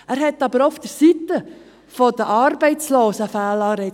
Diese hat aber auch auf der Seite der Arbeitslosen Fehlanreize.